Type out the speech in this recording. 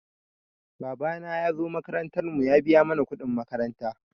Babana ya zo makarantar mu ya biya mana kuɗin makaranta.